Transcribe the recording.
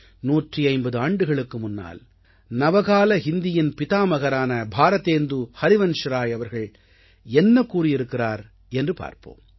150 ஆண்டுகளுக்கு முன்னால் நவகால ஹிந்தியின் பிதாமகரான பாரதேந்து ஹரிவன்ஷ்ராய் அவர்கள் என்ன கூறியிருக்கிறார் என்று பார்ப்போம்